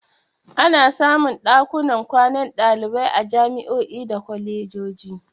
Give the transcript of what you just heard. Ana samun ɗakunan kwanan ɗalibai a jami'o'i da kwalejoji.